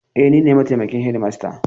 E, ni ne mataimakin shedimasta.